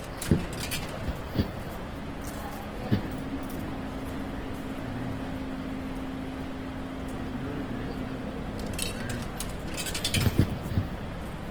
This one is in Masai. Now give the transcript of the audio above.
meeta enabikinore emadai oltungani